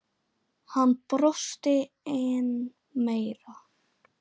Hann brosti enn meira.